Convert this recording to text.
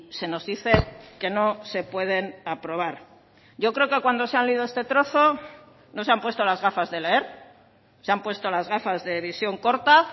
se nos dice que no se pueden aprobar yo creo que cuando se han leído este trozo no se han puesto las gafas de leer se han puesto las gafas de visión corta